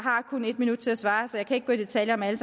kun en minut til at svare så jeg kan ikke gå i detaljer med alt